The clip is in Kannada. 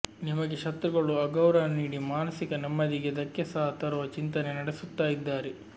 ನಿಮಗೆ ಶತ್ರುಗಳು ಅಗೌರವ ನೀಡಿ ಮಾನಸಿಕ ನೆಮ್ಮದಿಗೆ ದಕ್ಕೆ ಸಹ ತರುವ ಚಿಂತನೆ ನಡೆಸುತ್ತಾ ಇದ್ದಾರೆ